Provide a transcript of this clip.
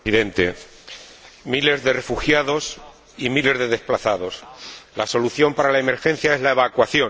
Señor Presidente, miles de refugiados y miles de desplazados. La solución para la emergencia es la evacuación.